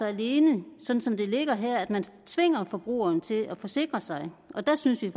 alene sådan som det ligger her at man tvinger forbrugeren til at forsikre sig og der synes vi